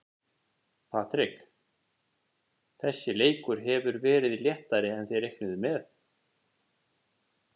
Patrik, þessi leikur hefur verið léttari en þið reiknuðuð með?